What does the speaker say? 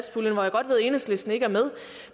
enhedslisten ikke